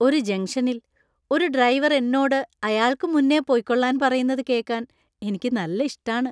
ഒരു ജംഗ്ഷനില്‍ ഒരു ഡ്രൈവര്‍ എന്നോട് അയാള്‍ക്ക് മുന്നേ പൊയ്ക്കോളാന്‍ പറയുന്നത് കേക്കാന്‍ എനിക്ക് നല്ല ഇഷ്ടാണ്.